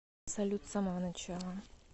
салют с самого начала